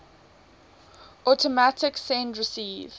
automatic send receive